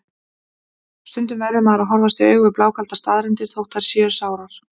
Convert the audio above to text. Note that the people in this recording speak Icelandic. Stundum verður maður að horfast í augu við blákaldar staðreyndir, þótt þær séu sárar.